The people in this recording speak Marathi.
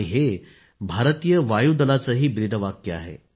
हे भारतीय नौदलाचे ब्रीदवाक्यही आहे